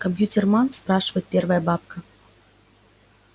компьютерман спрашивает первая бабка